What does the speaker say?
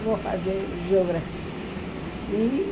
Eu vou fazer geografia. E